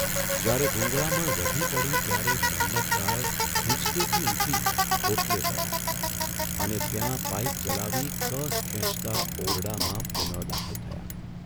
જ્યારે ગૂંગળામણ વધી પડી ત્યારે મન્મથરાય હીંચકેથી ઊઠી ઓટલે ગયા અને ત્યાં પાઇપ જલાવી કસ ખેંચતા ઓરડામાં પુનઃ દાખલ થયા.